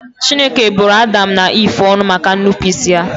Chineke bụrụ Adam na Eve ọnụ maka ñụpụịsị ha